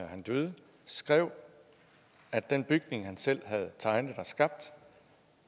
han døde skrev at den bygning han selv havde tegnet og skabt